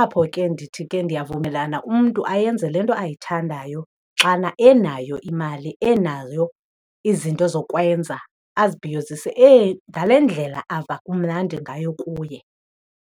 Apho ke ndithi ke ndiyavumelana umntu ayenze le nto ayithandayo xana enayo imali enayo izinto zokwenza azibhiyozise ngale ndlela ava kumnandi ngayo kuye.